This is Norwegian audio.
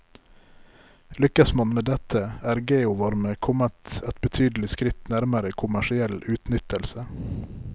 Lykkes man med dette, er geovarme kommet et betydelig skritt nærmere kommersiell utnyttelse.